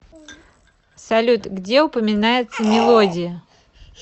салют где упоминается мелодия